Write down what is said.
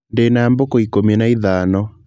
Ndĩna mbũkũ ikũmi na ithano.